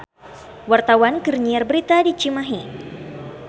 Wartawan keur nyiar berita di Cimahi